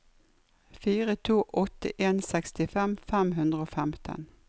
fire to åtte en sekstifem fem hundre og femten